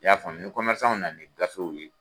Y'a faamuya ni nana ni gafew ye